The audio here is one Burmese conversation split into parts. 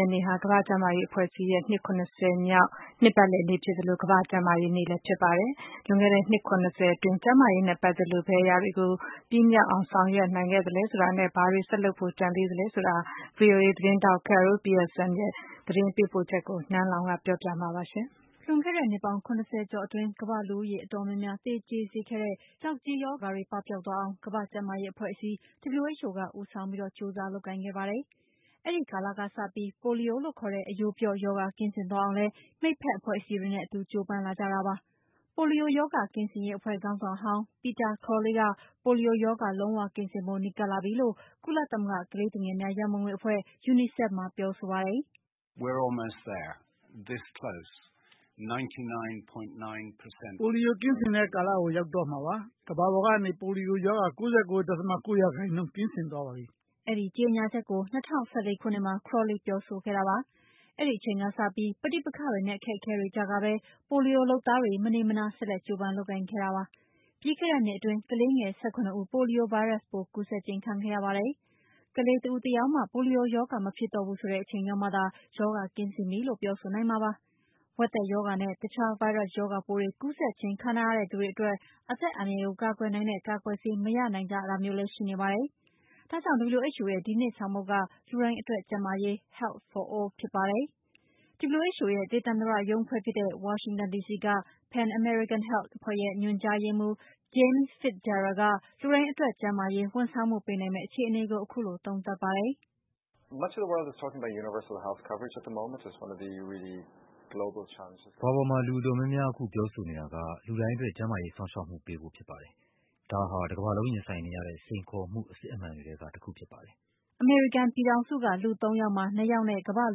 က်နေ့ဟာ ကမ္ဘာ့ကျန်းမာရေးအဖွဲ့အစည်းရဲ့ နှစ် ၇၀ မြောက် နှစ်ပတ်လည်နေ့ဖြစ်သလို ကမ္ဘာ့ကျန်းမာရေးနေ့လည်းဖြစ်ပါတယ်။ လွန်ခဲ့တဲ့ နှစ် ၇၀ အတွင်း ကျန်းမာရေးနဲ့ပတ်သက်လို့ ဘယ်အရာတွေကို ပြီးမြောက်အောင်ဆောင်ရွက်နိုင်ခဲ့သလဲဆိုတာနဲ့ ဘာတွေ ဆက်လုပ်ဖို့ ကျန်နေသေးသလဲဆိုတာကို VOA သတင်းထောက် Carol Pearson သတင်းပေးပို့ထားပါတယ်။ နန်းလောင်ဝ်က ပြောပြမှာပါ။ လွန်ခဲ့တဲ့ နှစ်ပေါင်း ၇၀ ကျော်အတွင်း ကမ္ဘာ့လူဦးရေအတော်များများ သေကြေစေခဲ့တဲ့ ကျောက်ရောဂါတွေ ပပျောက်သွားအောင် ကမ္ဘာ့ကျန်းမာရေးအဖွဲ့အစည်း WHO က ဦးဆောင်ပြီး ကြိုးစားလုပ်ကိုင်ခဲ့ပါတယ်။ အဲဒီကာလကစပြီး ပိုလီယိုလို့ခေါ်တဲ့ အရိုးပျော့ရောဂါ ကင်းစင်သွားအောင်လည်း မိတ်ဖက်အဖွဲ့အစည်းတွေနဲ့အတူ ကြိုးပမ်းလာကြတာပါ။ ပိုလီယို ကင်းစင်ရေး အဖွဲ့ခေါင်းဆောင်ဟောင်း Peter Crowley က ပိုလီယိုရောဂါ လုံး၀ ကင်းစင်ဖို့ နီးကပ်လာပြီလို့ ကုလသမဂ္ဂ ကလေးငယ်များရံပုံငွေအဖွဲ့ UNICEF မှာပြောဆိုပါတယ်။ “ပိုလီယိုကင်းစင်တဲ့ ကာလကိုရောက်တော့မှာပါ။ ကမ္ဘာပေါ်ကနေ ပိုလီယိုရောဂါ ၉၉.၉ ရာခိုင်နှုန်းကို ကင်းစင်သွားပါပြီ။” အဲဒီကြေငြာချက်ကို ၂၀၁၄ ခုနှစ်မှာ Crowley ပြောဆိုခဲ့တာပါ။ အဲဒီအချိန်ကစပြီး ပဋိပက္ခတွေနဲ့ အခက်အခဲတွေကြားကပဲ ပိုလီယိုလုပ်သားတွေ မနေမနား ဆက်လက် ကြိုးပမ်းလုပ်ကိုင်ခဲ့ကြတာပါ။ ပြီးခဲ့တဲ့နှစ်အတွင်း ကလေးငယ် ၁၇ ဦး ပိုလီယိုဗိုင်းရပ်ပိုးကူးစက်ခြင်းခံခဲ့ရပါတယ်။ ကလေးတဦးတယောက်မှ ပိုလီယိုရောဂါမဖြစ်တော့ဘူးဆိုတဲ့အချိန်ရောက်မှသာ ရောဂါကင်းစင်ပြီလို့ ပြောဆိုနိုင်မှာဖြစ်ပါတယ်။ ဝက်သက်ရောဂါနဲ့ အခြားဗိုင်းရပ်စ်ရောဂါပိုးတွေ ကူးစက်ခြင်းခံထားရတဲ့သူတွေအတွက် အသက်အန္တရာယ်ကို ကာကွယ်နိုင်တဲ့ ကာကွယ်ဆေးတွေမရနိုင်ကြတာမျိုး လည်းရှိနေတာပါ။ ဒါကြောင့် WHO ရဲ့ဒီနှစ်ဆောင်ပုဒ်က လူတိုင်းအတွက် ကျန်းမာရေး “health for all” ဖြစ်ပါတယ်။ WHOရဲ့ ဒေသန္တရရုံးခွဲဖြစ်တဲ့၊ ဝါရှင်တန်ဒီစီက Pan Amefican Health အဖွဲ့ ညွှန်ကြားရေးမှုး James Fitzgerald က လူတိုင်းအတွက်ကျန်းမာရေးဝန်ဆောင်မှုပေးနိုင်မယ့် အခြေအနေကို ခုလိုသုံးသပ်ပါတယ်။ “ကမ္ဘာမှာ လူအတော်များများအခု ပြောဆိုနေတာက လူတိုင်းအတွက်ကျန်းမာရေးစောင့်ရှောက်မှုပေးရေးဖြစ်ပါတယ်။ ဒါဟာ တကမ္ဘာလုံးရင်ဆိုင်နေရတဲ့ စိန်ခေါ်မှု အစစ်အမှန်တွေထဲက တခုဖြစ်ပါတယ်။” အမေရိကန်ပြည်ထောင်စုက လူ၃ ယောက်မှာ ၂ ယောက်နဲ့ ကမ္ဘာ့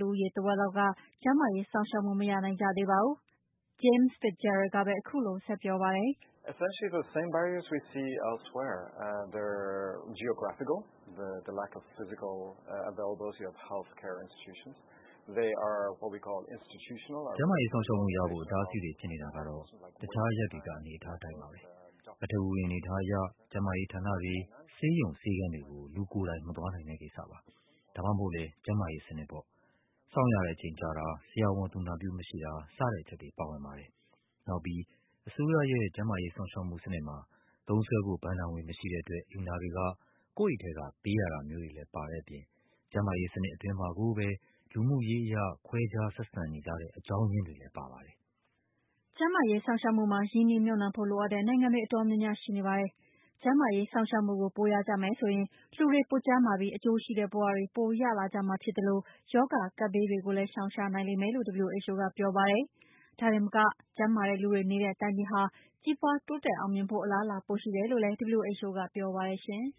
လူဦးရေ တဝက်လောက်က ကျန်းမာရေးစောင့်ရှောက်မှု မရနိုင်ကြသေးပါဘူး။ James Fitzgerald ကခုလို ဆက်ပြောပါတယ်။ “ကျန်းမာရေးစောင့်ရှောက်မှုရဖို့ အတားအဆီးတွေဖြစ်နေတာကတော့ အခြားအရပ်က အနေအထားအတိုင်းပါပဲ။ ပထဝီဝင်အနေအထားအရ၊ ကျန်းမာရေးဌာနတွေ၊ ဆေးရုံ၊ ဆေးခန်းတွေကို လူကိုယ်တိုင် မသွားနိုင်တဲ့ကိစ္စပါ။ ဒါမှမဟုတ်လည်း ကျန်းမာရေးစနစ်ပေါ့၊ စောင့်ရတဲ့ အချိန်ကြာတာတွေ၊ ဆရာဝန် သူနာပြုတွေ မရှိတာ စတဲ့အချက်တွေပါဝင်ပါတယ်။ နောက်ပြီး အစိုးရရဲ့ ကျန်းမာရေးစောင့်ရှောက်မှုစနစ်မှာ သုံးစွဲဖို့ဘဏ္ဍာငွေမရှိတဲ့အတွက် လူနာတွေက ကိုယ့်အိတ်ထဲက ပေးရတာမျိုးတွေလည်းပါဝင်တဲ့အပြင် ကျန်းမာရေးစနစ်အတွင်းမှာကိုပဲ လူမှုရေးအရ ခွဲခြားဆက်ဆံနေကြတဲ့ အကြောင်းရင်း တွေလည်းပါပါတယ်။” ကျန်းမာရေးစောင့်ရှောက်မှုမှာ ရင်းနှီးမြှပ်နှံဖို့ လိုအပ်တဲ့ နိုင်ငံတွေအတော်များများရှိနေပါတယ်။ ကျန်းမာရေးစောင့်ရှောက်မှုကို ပိုရကြမယ်ဆိုရင် လူတွေပိုကျန်းမာပြီး အကျိုးရှိတဲ့ ဘဝတွေပိုရလာမှာဖြစ်သလို ကျန်းမာရေးကဒ်ဘေးတွေကိုလည်း ရှောင်ရှားနိုင်လိမ့်မယ်လို့ WHO ကပြောပါတယ်။ ဒါတင်မက ကျန်းမာတဲ့လူတွေနေတဲ့တိုင်းပြည်ဟာ ကြီးပွါးတိုးတက်အောင်မြင်ဖို့ အလားအလာပိုရှိတယ်လို့လည်း WHO ကပြောပါတယ်ရှင်။